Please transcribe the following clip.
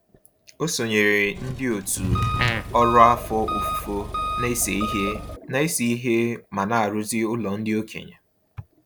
O sonyeere ndị òtù ọrụ afọ ofufo na-ese ihe na-ese ihe ma na-arụzi ụlọ ndị okenye.